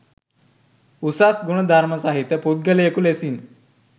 උසස් ගුණ ධර්ම සහිත පුද්ගලයකු ලෙසින්